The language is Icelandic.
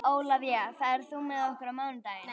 Ólafía, ferð þú með okkur á mánudaginn?